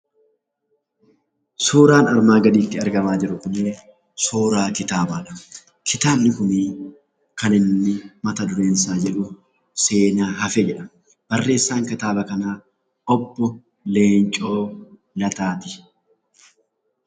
Suuraan armaan gadiirratti argamaa jiru kuni suuraa kitaabaadha. Kitaabni kuni kan inni mata dureen isaa jedhu 'seenaa hafe' jedha. Barreessaan kitaaba kanaa obbo Leencoo Lataati.